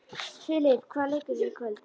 Filip, hvaða leikir eru í kvöld?